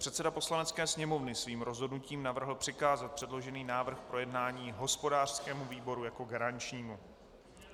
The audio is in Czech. Předseda Poslanecké sněmovny svým rozhodnutím navrhl přikázat předložený návrh k projednání hospodářskému výboru jako garančnímu.